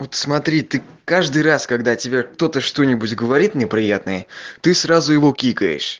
вот смотри ты каждый раз когда тебя кто-то что-нибудь говорит неприятное ты сразу его кикаешь